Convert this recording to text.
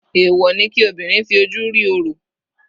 Èwọ̀ ni kí obìnrin fi ojú rí orò.